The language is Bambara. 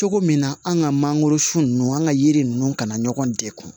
Cogo min na an ka mangoro sun nunnu an ka yiri ninnu kana ɲɔgɔn degun